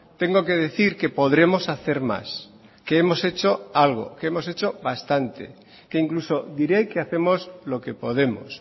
tengo que decir que podremos hacer más que hemos hecho algo que hemos hecho bastante que incluso diré que hacemos lo que podemos